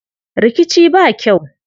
Rikici ba kyau.